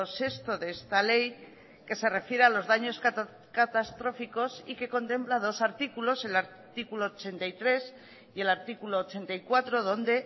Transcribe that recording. sexto de esta ley que se refiere a los daños catastróficos y que contempla dos artículos el artículo ochenta y tres y el artículo ochenta y cuatro donde